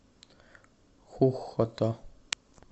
хух хото